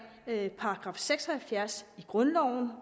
§ seks og halvfjerds i grundloven